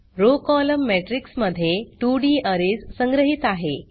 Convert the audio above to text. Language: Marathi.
रॉव कोलम्न मॅट्रिक्स मध्ये 2 डी अरेज संग्रहीत आहे